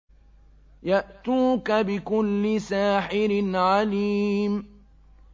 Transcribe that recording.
يَأْتُوكَ بِكُلِّ سَاحِرٍ عَلِيمٍ